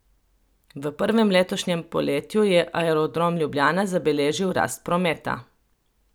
V prvem letošnjem polletju je Aerodrom Ljubljana zabeležil rast prometa.